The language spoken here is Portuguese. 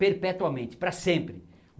perpetuamente, praa sempre.